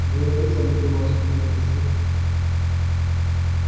век не забуду ваших милостей